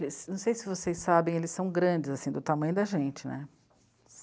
Não sei se vocês sabem, eles são grandes, assim, do tamanho da gente, né?